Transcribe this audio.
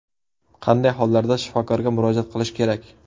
Qanday hollarda shifokorga murojaat qilish kerak?